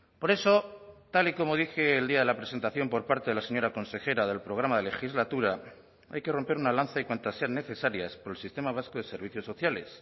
por eso tal y como dije el día de la presentación por parte de la señora consejera del programa de legislatura hay que romper una lanza y cuantas sean necesarias por el sistema vasco de servicios sociales